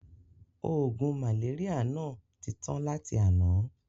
Oògùn màléríà náà ti tà tán láti àná.